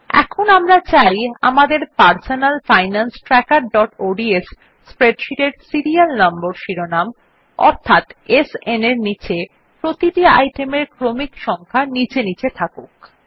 এখন আমরা চাই আমাদের পারসোনাল ফাইনান্স trackerঅডস স্প্রেডশীট এর সিরিয়াল নম্বর শিরোনাম অর্থাৎ SN এর নীচে প্রতিটি আইটেমের ক্রমিক সংখ্যা নীচে নীচে থাকুক